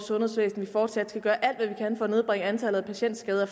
sundhedsvæsen og fortsat skal gøre alt hvad vi kan for at nedbringe antallet af patient skader